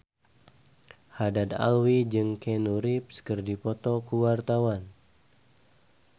Haddad Alwi jeung Keanu Reeves keur dipoto ku wartawan